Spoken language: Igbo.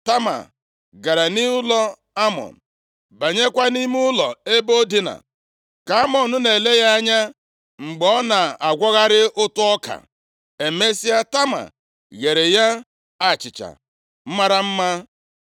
Tama gara nʼụlọ Amnọn, banyekwa nʼime ụlọ ebe o dinaa, ka Amnọn na-ele ya anya mgbe ọ na-agwọgharị ụtụ ọka. Emesịa, Tama gheere ya achịcha mara mma.